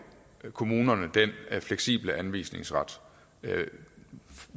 kommunerne den fleksible anvisningsret